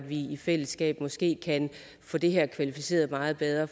vi i fællesskab måske kan få det her kvalificeret meget bedre